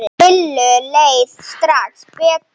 Lillu leið strax betur.